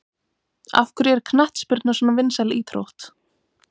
Af hverju er knattspyrna svona vinsæl íþrótt?